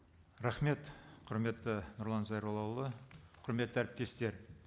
рахмет құрметті нұрлан зайроллаұлы құрметті әріптестер